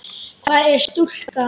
Hvað er stúka?